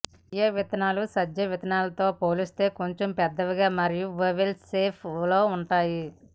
chia విత్తనాలు సబ్జా విత్తనాలతో పోలిస్తే కొంచెం పెద్దగా మరియు ఒవెల్ షేప్ లో ఉంటాయి